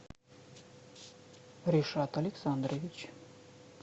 ришат александрович